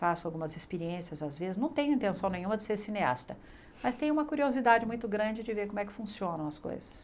Faço algumas experiências às vezes, não tenho intenção nenhuma de ser cineasta, mas tenho uma curiosidade muito grande de ver como é que funcionam as coisas.